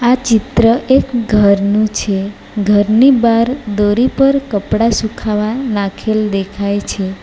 આ ચિત્ર એક ઘરનું છે ઘરની બાર દોરી પર કપડાં સુખાવા નાખેલ દેખાય છે.